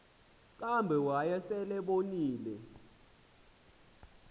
kambe wayesel ebonile